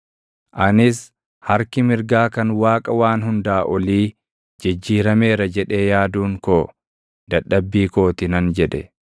Anis, “Harki mirgaa kan Waaqa Waan Hundaa Olii jijjiirameera jedhee yaaduun koo, dadhabbii koo ti” nan jedhe.